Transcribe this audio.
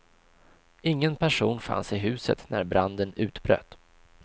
Ingen person fanns i huset när branden utbröt.